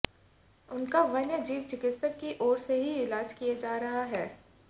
उनका वन्य जीव चिकित्सक की ओर से इलाज किया जा रहा है